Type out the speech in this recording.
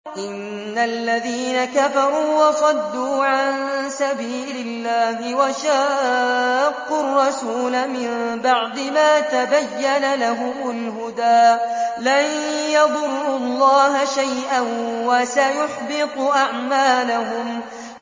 إِنَّ الَّذِينَ كَفَرُوا وَصَدُّوا عَن سَبِيلِ اللَّهِ وَشَاقُّوا الرَّسُولَ مِن بَعْدِ مَا تَبَيَّنَ لَهُمُ الْهُدَىٰ لَن يَضُرُّوا اللَّهَ شَيْئًا وَسَيُحْبِطُ أَعْمَالَهُمْ